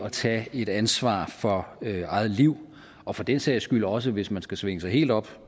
at tage et ansvar for eget liv og for den sags skyld også hvis man skal svinge sig helt op